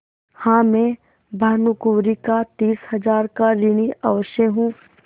हाँ मैं भानुकुँवरि का तीस हजार का ऋणी अवश्य हूँ